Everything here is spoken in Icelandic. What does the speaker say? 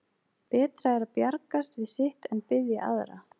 Betra er að bjargast við sitt en biðja aðra.